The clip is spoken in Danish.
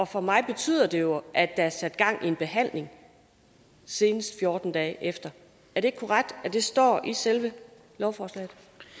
for mig betyder det jo at der er sat gang i en behandling senest fjorten dage efter er det ikke korrekt at det står i selve lovforslaget